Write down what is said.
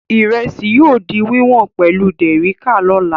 Ìrẹsì yóò di wíwọ̀n pẹ̀lú dẹ̀ríká lọ́la.